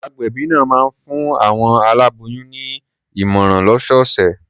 Agbẹ̀bí náà máa ń fún àwọn aláboyùn ní ìmọ̀ràn lọ́sọ̀ọ̀sẹ̀.